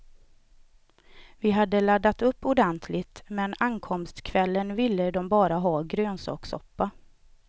Vi hade laddat upp ordentligt, men ankomstkvällen ville de bara ha grönsakssoppa.